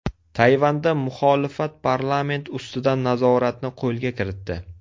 Tayvanda muxolifat parlament ustidan nazoratni qo‘lga kiritdi.